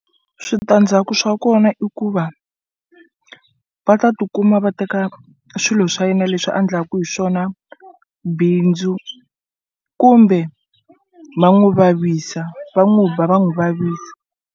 Switandzhaku swa kona i ku va va ta tikuma va teka swilo swa yena leswi a ndlaku hi swona bindzu kumbe ma n'wu vavisa va n'wu ba va n'wu vavisa.